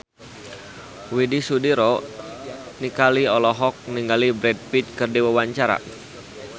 Widy Soediro Nichlany olohok ningali Brad Pitt keur diwawancara